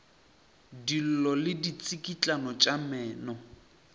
dillo le ditsikitlano tša meno